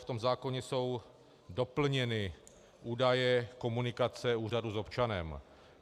V tom zákoně jsou doplněny údaje komunikace úřadu s občanem.